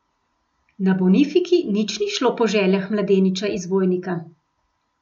Na Bonifiki nič ni šlo po željah mladeniča iz Vojnika.